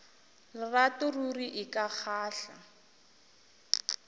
lerato ruri e ka kgahla